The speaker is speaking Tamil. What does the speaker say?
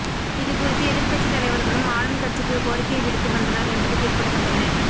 இதுகுறித்து எதிர்க்கட்சி தலைவர்களும் ஆளும் கட்சிக்கு கோரிக்கை விடுத்து வந்தனர் என்பது குறிப்பிடத்தக்கது